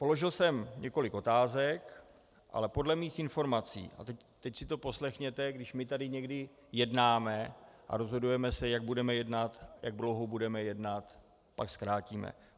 Položil jsem několik otázek, ale podle mých informací - a teď si to poslechněte - když my tady někdy jednáme a rozhodujeme se, jak budeme jednat, jak dlouho budeme jednat, pak zkrátíme.